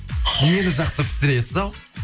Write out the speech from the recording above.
нені жақсы пісіресіз ал